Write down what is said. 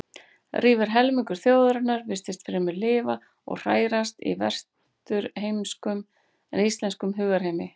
Rífur helmingur þjóðarinnar virtist fremur lifa og hrærast í vesturheimskum en íslenskum hugarheimi.